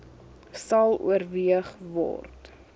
sal oorweeg word